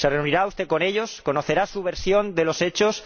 ¿Se reunirá usted con ellos? ¿Conocerá su versión de los hechos?